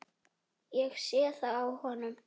Ég sé það á honum.